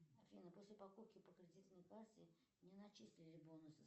афина после покупки по кредитной карте не начислили бонусы